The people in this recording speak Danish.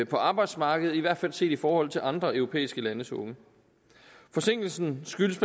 på arbejdsmarkedet i hvert fald set i forhold til andre europæiske landes unge forsinkelsen skyldes